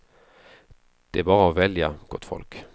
Det är bara att välja, gott folk.